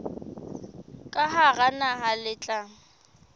ka hara naha le tla